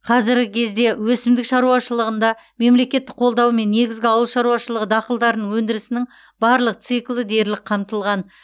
қазіргі кезде өсімдік шаруашылығында мемлекеттік қолдаумен негізгі ауыл шаруашылығы дақылдарының өндірісінің барлық циклі дерлік қамтылған